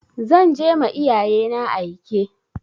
Za je ma iyayena aike.